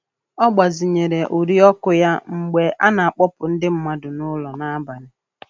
Ọ gbazinyere uri ọkụ ya mgbe a na-akpọpụ ndị mmadụ nụlọ nabalị.